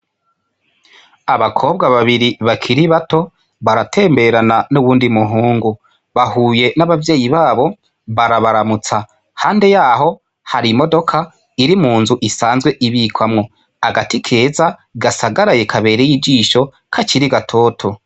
Abakobwa babiri bakiri bato baratemberana n'uwundi muhungu. Bahuye n'abavyeyi babo barabaramutsa, iruhande y'aho hari imodoka iri mu nzu isanzwe ibikwamwo, agati keza gasagaraye kabereye ijisho, kakiri gatoto.